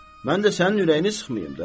mən də sənin ürəyini sıxmayım da.